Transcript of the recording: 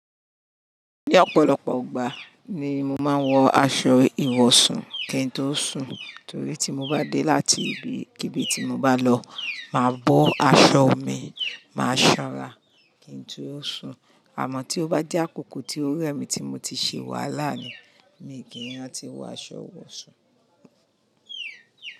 Ní ọ̀pọ̀lọpọ̀ ìgbà ni mo máa ń wọ aṣọ ìwọ̀sùn kí n tó sùn, torí tí mo bá dé láti ibi kíbí tí mo bá lọ, màá bọ́ aṣọ mi, màá sanra kí n tó sùn. Àmọ́ tí ó bá jẹ́ àkókò tí ó rẹ mi tí mo ti ṣe wàhalá ni, mi kì í rántí wọ aṣọ ìwọ̀sùn.